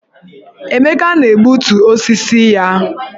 Emeka na-egbutu osisi ya